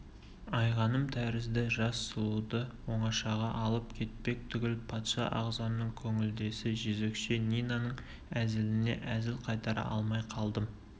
айғаным тәрізді жас сұлуды оңашаға алып кетпек түгіл патша ағзамның көңілдесі жезөкше нинаның әзіліне әзіл қайтара алмай қалдым